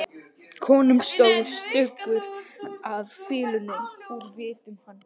Konum stóð stuggur af fýlunni úr vitum hans.